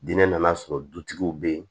Diinɛ nan'a sɔrɔ dutigiw bɛ yen